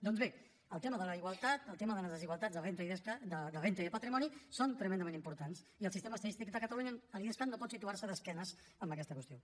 doncs bé el tema de la igualtat el tema de les desigualtats de renda i de patrimoni són tremendament importants i el sistema estadístic de catalunya l’idescat no pot situar se d’esquena a aquesta qüestió